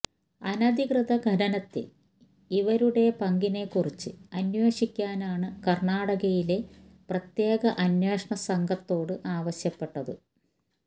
അനധികൃത ഖനനത്തില് ഇവരുടെ പങ്കിനെക്കുറിച്ച് അന്വേഷിക്കാനാണ് കര്ണാടകയിലെ പ്രത്യേക അന്വേഷണ സംഘത്തോട് ആവശ്യപ്പെട്ടത്